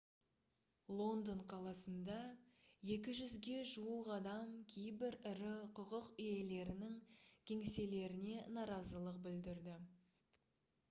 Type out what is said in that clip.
лондон қаласында 200-ге жуық адам кейбір ірі құқық иелерінің кеңселеріне наразылық білдірді